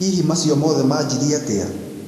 hihi macio mothe manjirie atĩa?